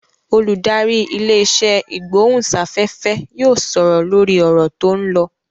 Olùdarí ilé-isẹ́ ìgbóhùnsáfẹ́fẹ́ yóò sọ̀rọ̀ lórí ọ̀rọ̀ tó ń lọ.